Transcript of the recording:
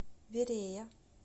верея